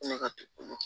Ne ka du kɔnɔ